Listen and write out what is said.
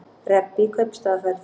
Rebbi í kaupstaðarferð